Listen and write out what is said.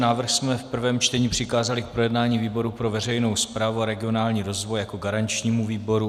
Návrh jsme v prvém čtení přikázali k projednání výboru pro veřejnou správu a regionální rozvoj jako garančnímu výboru.